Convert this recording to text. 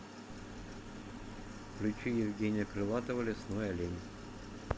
включи евгения крылатова лесной олень